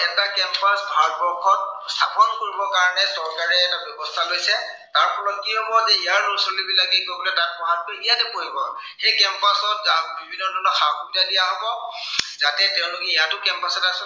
স্থাপন কৰিবৰ কাৰনে চৰকাৰে এটা ব্য়ৱস্থা লৈছে, তাৰফলত কি হব যে, ইয়াৰ লৰা ছোৱালীবিলাকে গৈ তাত পঢ়াতকৈ ইয়াতে পঢ়িব। সেই campus ত বিভিন্ন ধৰনৰ সা-সুবিধা দিয়া হব। যাতে তেওঁলোকে ইয়াতো campus ত